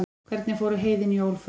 hvernig fóru heiðin jól fram